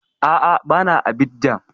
A'a, ba na Abidjan